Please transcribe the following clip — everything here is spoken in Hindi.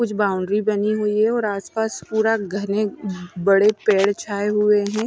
कुछ बाउंड्री बनी हुई है और आसपास पूरा घने बड़े पेड़ छाए हुए हैं।